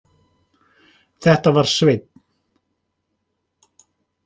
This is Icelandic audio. Þetta var Svenni.